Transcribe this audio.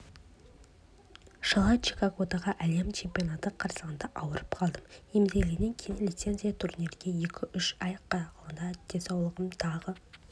жылы чикагодағы әлем чемпионаты қарсаңында ауырып қалдым емделгеннен кейін лицензиялық турнирге екі-үш ай қалғанда денсаулығым тағы